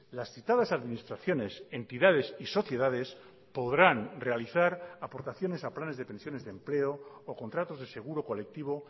las citadas administraciones entidades y sociedades podrán realizar aportaciones a planes de pensiones de empleo o contratos de seguro colectivo